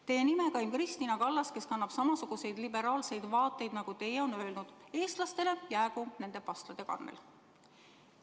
Teie nimekaim Kristina Kallas, kes esindab samasuguseid liberaalseid vaateid nagu teie, on öelnud: "Eestlastele jäägu nende pastlad ja kannel.